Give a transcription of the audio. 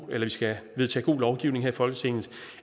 vi skal vedtage god lovgivning her i folketinget